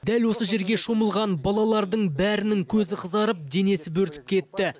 дәл осы жерге шомылған балалардың бәрінің көзі қызарып денесі бөрітіп кетті